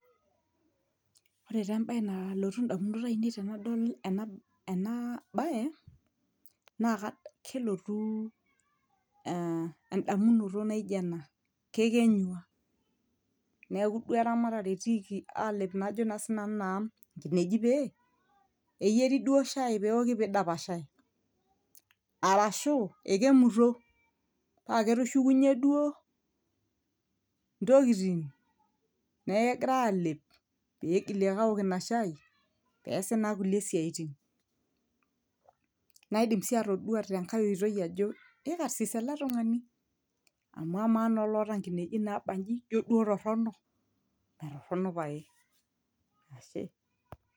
ore taa embaye nalotu indamunot ainei tenadol ena, ena baye naa ka kelotu eh endamunoto naijo ena kekenyua neeku duo eramatare etiiki alep naa ajo naa sinanu naa nkinejik pee eyieri duo shai pewoki pidapashae arashu ekemuto paa ketushukunyie duo ntokiting neeku kegirae alep pigili ake awok ina shai peesi naa kulie siaitin naidim sii atodua tenkae oitoi ajo ikarsis ele tung'ani amu amaa naa oloota nkinejik nabanji juo duo torrono metorrono paye ashe.